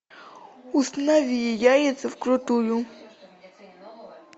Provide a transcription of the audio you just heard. установи яйца вкрутую